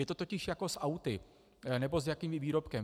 Je to totiž jako s auty nebo s jakýmkoli výrobkem.